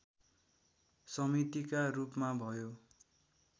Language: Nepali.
समितिका रूपमा भयो